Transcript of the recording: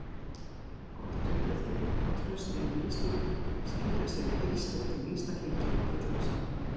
Gott uppeldi og traust heimilislíf skila sér í heilsteyptum einstaklingi á fullorðinsárum.